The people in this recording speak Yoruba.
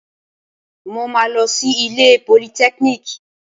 Mo máa lọ sí ilé ìwé politẹ́kíníìkì